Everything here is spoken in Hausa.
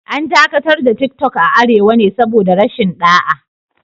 An dakatar da Tiktok a Arewa ne saboda rashin ɗa'a